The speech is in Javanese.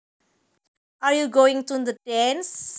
Are you going to the dance